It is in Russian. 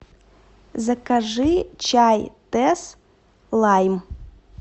закажи чай тесс лайм